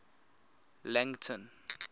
langton